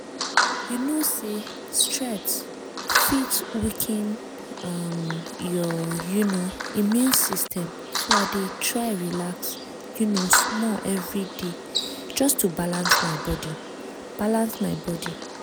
you know say stress fit weaken um your um immune system so i dey try relax um small every day just to balance my body balance my body